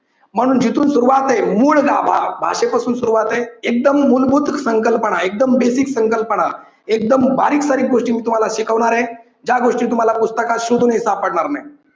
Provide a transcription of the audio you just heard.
म्हणून जिथून सुरुवात आहे. मूळ गाभा. भाषेपासून सुरुवात आहे. एकदम मूलभूत संकल्पना एकदम basic संकल्पना एकदम बारीक सारीक गोष्टी मी तुम्हाला शिकवणार आहे ज्या गोष्टी तुम्हाला पुस्तकात शोधूनही सापडणार नाहीत.